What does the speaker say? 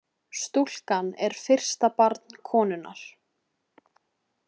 Stúlkan er fyrsta barn konunnar